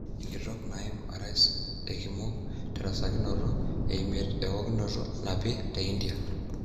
Enkitok naima aras ekimogik terasakinoto emiet ewotikinoto napi, te India.